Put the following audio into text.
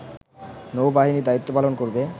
নৌ-বাহিনী দায়িত্ব পালন করবে